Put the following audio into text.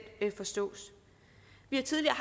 forstås vi har tidligere